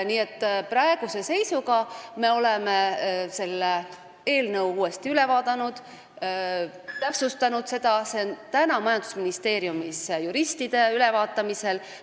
Nii et praeguse seisuga me oleme selle eelnõu uuesti üle vaadanud ja seda täpsustanud, see on majandusministeeriumi juristide käes ülevaatamisel.